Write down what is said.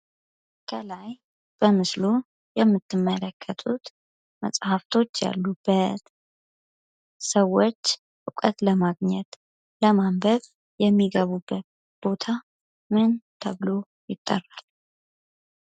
ከላይ በምስሉ የምትመለከቱት መፅሐፎች ያሉበት ሰዎች እውቀት ለማግኘት ለማንበብ የሚገቡበት ቦታ ምን ተብሎ ይጠራል?